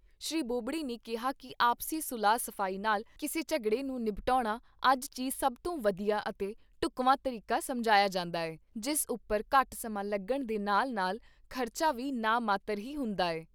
ਸ਼੍ਰੀ ਬੋਬਡੇ ਨੇ ਕਿਹਾ ਕਿ ਆਪਸੀ ਸੁਲਹ ਸਫ਼ਾਈ ਨਾਲ਼ ਕਿਸੇ ਝਗੜੇ ਨੂੰ ਨਿਬਟਾਉਣਾ ਅੱਜ ਚੀ ਸਭ ਤੋਂ ਵਧੀਆ ਅਤੇ ਢੁਕਵਾਂ ਤਰੀਕਾ ਸਮਝਾਇਆ ਜਾਂਦਾ ਹੈ, ਜਿਸ ਉੱਪਰ ਘੱਟ ਸਮਾਂ ਲੱਗਣ ਦੇ ਨਾਲ ਨਾਲ ਖ਼ਰਚਾ ਵੀ ਨਾ ਮਾਤਰ ਹੀ ਹੁੰਦਾ ਹੈ।